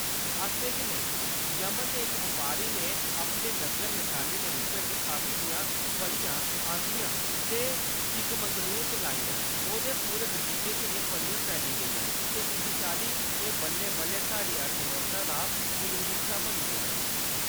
असलै च नेईं ! यमन दे इक बपारी ने अपने नग्गर नशानी दे रूपै च काफी दियां फलियां आंह्‌दियां ते चिकमंगलूर च लाइयां; ओह्‌दे पूरे बगीचे च एह् फलियां फैली गेइयां, ते इस चाल्ली एह्‌‌ बल्लें-बल्लें साढ़ी अर्थव्यवस्था दा जरूरी हिस्सा बनी गेइयां।